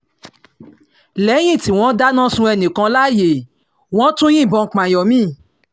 lẹ́yìn tí wọ́n dáná sun ẹnì kan láàyè wọ́n tún yìnbọn pààyàn mi